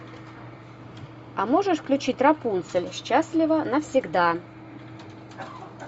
а можешь включить рапунцель счастлива навсегда